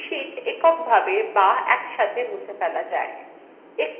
sheets এককভাবে be একসাথে মুছে ফেলা যায়